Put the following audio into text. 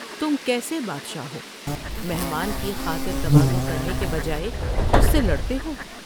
تم کیسے بادشاہ ہو ، مہمان کی خاطر تواضع کرنے کے بجائے اس سے لڑتے ہو ۔